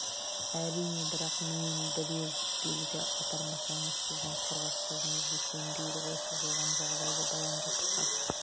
әрине бірақ менен бірер белгі апармасаңыз сіздің құрғақ сөзіңізге сенбейді ғой сіз оған жағдайды баяндап хат